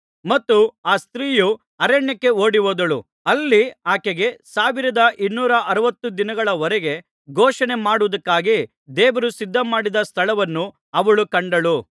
ಮತ್ತು ಆ ಸ್ತ್ರೀಯು ಅರಣ್ಯಕ್ಕೆ ಓಡಿಹೋದಳು ಅಲ್ಲಿ ಆಕೆಗೆ ಸಾವಿರದ ಇನ್ನೂರ ಅರವತ್ತು ದಿನಗಳ ವರೆಗೆ ಪೋಷಣೆಮಾಡುವುದಕ್ಕಾಗಿ ದೇವರು ಸಿದ್ಧಮಾಡಿದ್ದ ಸ್ಥಳವನ್ನು ಅವಳು ಕಂಡಳು